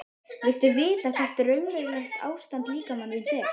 Viltu vita hvert raunverulegt ástand líkama þíns er?